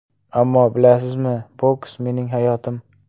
Ammo, bilasizmi, boks mening hayotim.